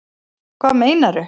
Hvað meinarðu?